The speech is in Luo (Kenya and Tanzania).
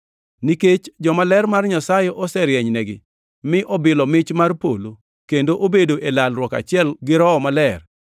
Nikech jomaler mar Nyasaye oserienynegi mi obilo mich mar polo kendo obedo e lalruok achiel gi Roho Maler;